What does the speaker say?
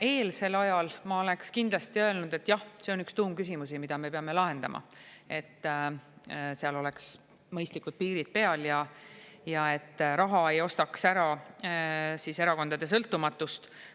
Some‑eelsel ajal ma oleks kindlasti öelnud, et jah, see on üks tuumküsimus, mida me peame lahendama, et seal oleks mõistlikud piirid peal ja et raha ei ostaks ära erakondade sõltumatust.